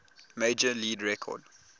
major league record